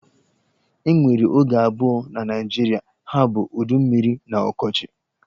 E nwere oge abụọ na Naịjirịa, ha bụ udu mmiri na ọkọchi.